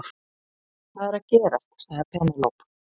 Hvað er að gerast sagði Penélope.